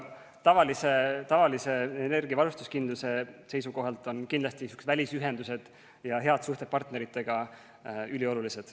Aga tavalise energiavarustuskindluse seisukohalt on kindlasti välisühendused ja head suhted partneritega üliolulised.